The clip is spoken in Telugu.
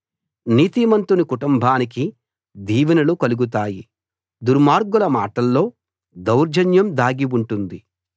నీతిమంతుని కుటుంబానికి దీవెనలు కలుగుతాయి దుర్మార్గుల మాట్లల్లో దౌర్జన్యం దాగి ఉంటుంది